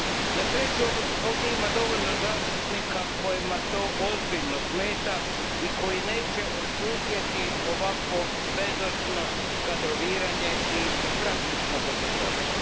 Na sreću ovdje ima dovoljno zastupnika kojima to ozbiljno smeta i koji neće odšutjeti ovakvo bezočno kadroviranje i praktično bezobrazluk.